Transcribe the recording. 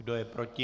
Kdo je proti?